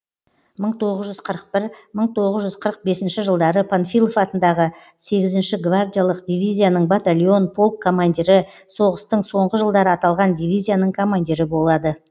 мың тоғыз жүз қырық бір мың тоғыз жүз қырық бесінші жылдары панфилов атындағы сегізінші гвардиялық дивизияның батальон полк командирі соғыстың соңғы жылдары аталған дивизияның командирі болады